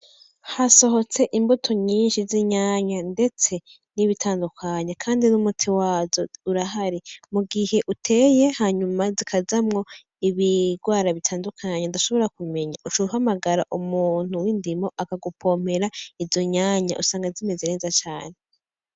Hasohotse imvuto nyinshi z'inyanya ndetse n'ibitandukanye kandi n'umuti wazo urahari. Mugihe uteye hanyuma zikazamwo ibigwara bitandukanye udashobora kumenya , uca uhamagara umuntu w'indimo akagupompera izo nyanya usanga zimeze neza cane .